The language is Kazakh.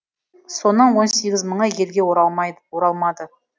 соның он сегіз мыңы елге оралмады